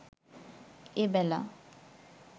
এবেলা